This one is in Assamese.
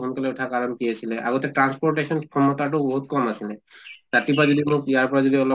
সোনকালে উঠা কাৰণে কি আছিলে আগতে transportation ক্ষমতাটো বহুত কম আছিলে। ৰাতিপুৱা যদি মোক ইয়াৰ পৰা যদি অলপ